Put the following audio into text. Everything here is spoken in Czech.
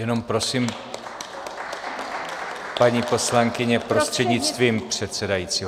Jenom prosím, paní poslankyně, prostřednictvím předsedajícího.